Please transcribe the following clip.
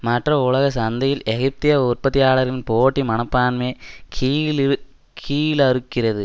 மற்ற உலக சந்தையில் எகிப்திய உற்பத்தியாளர்களின் போட்டி மனப்பான்மைய கீழிறு கீழறுக்கிறது